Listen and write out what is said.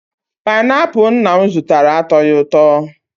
Pineapul nna m zụtara, atoghi ụtọ